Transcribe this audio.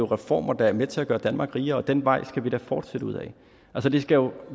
reformer der er med til at gøre danmark rigere og den vej skal vi da fortsætte ud ad det skal jo